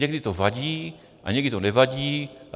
Někdy to vadí a někdy to nevadí.